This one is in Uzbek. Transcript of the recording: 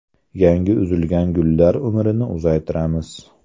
Yangi uzilgan gullar umrini uzaytiramiz.